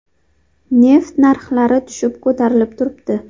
Neft narxlari tushib-ko‘tarilib turibdi.